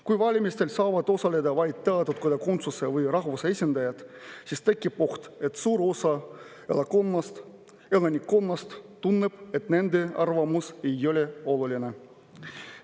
Kui valimistel saavad osaleda vaid teatud kodakondsuse või rahvuse esindajad, siis tekib oht, et suur osa elanikkonnast tunneb, et nende arvamus ei ole oluline.